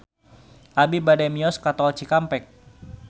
Abi bade mios ka Tol Cikampek